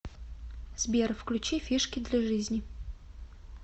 сбер включи фишки для жизни